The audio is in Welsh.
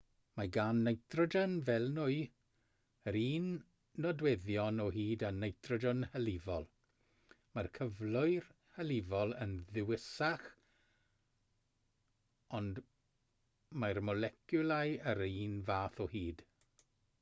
mae gan nitrogen fel nwy yr un nodweddion o hyd â nitrogen hylifol mae'r cyflwr hylifol yn ddwysach ond mae'r moleciwlau yr un fath o hyd